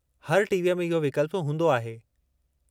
हर टीवीअ में इहो विकल्पु हूंदो आहे।